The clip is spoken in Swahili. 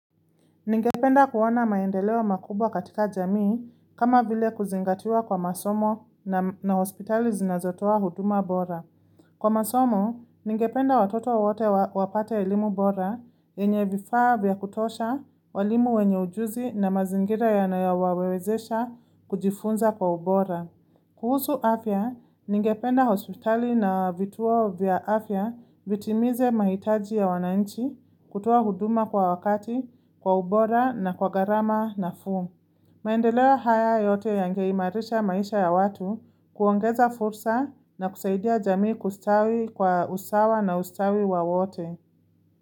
Ningependa kuona maendeleo makubwa katika jamii kama vile kuzingatiwa kwa masomo na hospitali zinazotoa huduma bora. Kwa masomo, ningependa watoto wote wapate elimu bora, yenye vifaa vya kutosha, walimu wenye ujuzi na mazingira yanayowawezesha kujifunza kwa ubora. Kuhusu afya, ningependa hospitali na vituo vya afya vitimize mahitaji ya wananchi, kutoa huduma kwa wakati, kwa ubora na kwa gharama nafuu. Maendeleo haya yote yange imarisha maisha ya watu kuongeza fursa na kusaidia jamii kustawi kwa usawa na ustawi wa wote.